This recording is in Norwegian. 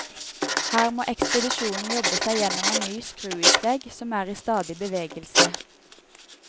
Her må ekspedisjonen jobbe seg gjennom en ny skruisvegg, som er i stadig bevegelse.